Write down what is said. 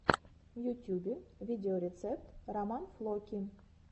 в ютюбе видеорецепт роман флоки